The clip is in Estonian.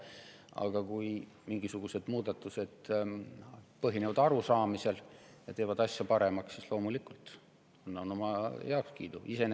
Aga kui mingisugused muudatused põhinevad arusaamisel ja teevad asja paremaks, siis loomulikult ma oma heakskiidu annan.